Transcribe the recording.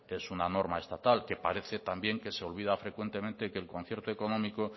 es una norma estatal que parece también que se olvida frecuentemente que el concierto económico